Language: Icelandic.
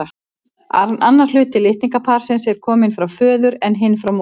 Annar hluti litningaparsins er kominn frá föður en hinn frá móður.